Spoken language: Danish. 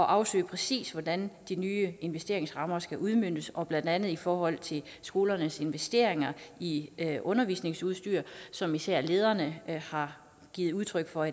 afsøge præcis hvordan de nye investeringsrammer skal udmøntes blandt andet i forhold til skolernes investeringer i undervisningsudstyr som især lederne har givet udtryk for